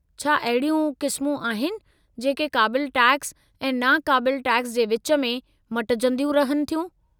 छा अहिड़ियूं क़िस्मूं आहिनि जेके क़ाबिलु टैक्स ऐं नाक़ाबिलु टैक्स जे विच में मटिजंदियूं रहनि थियूं?